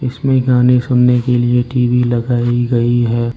इसमें गाने सुनने के लिए टी_वी लगाई गई है।